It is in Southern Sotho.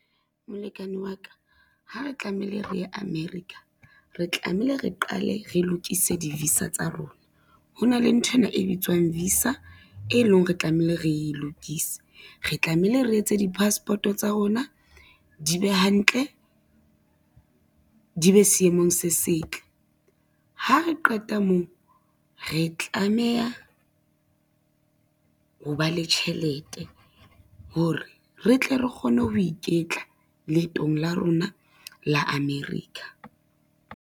Molekane wa ka, ha re tlamehile re ye America, re tlamehile re qale re lokise di-visa tsa rona. Ho na le nthwena e bitswang visa e lo reng re tlamehile re lokise, re tlamehile re etse di-passport-o tsa rona di be hantle, di be seemong se setle. Ha re qeta moo, re tlameha ho ba le tjhelete hore re tle re kgone ho iketla leetong la rona la America.